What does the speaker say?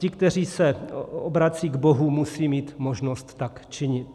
Ti, kteří se obracejí k Bohu, musejí mít možnost tak činit.